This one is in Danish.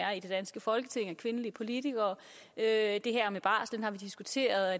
kvindelige politikere er i det her med barsel har vi diskuteret